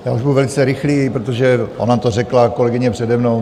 Já už budu velice rychlý, protože ona to řekla kolegyně přede mnou.